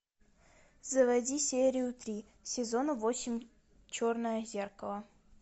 заводи серию три сезона восемь черное зеркало